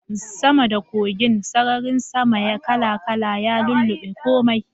Sama da kogin, sararin sama kala-kala ya lullube komai.